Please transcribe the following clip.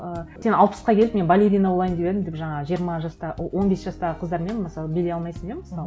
ы сен алпысқа келіп мен балерина болайын деп едім деп жаңағы жиырма жаста он бес жастағы қыздармен мысалы билей алмайсың иә мысалы